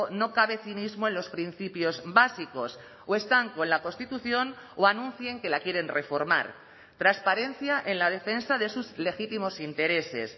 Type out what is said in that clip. no cabe cinismo en los principios básicos o están con la constitución o anuncien que la quieren reformar transparencia en la defensa de sus legítimos intereses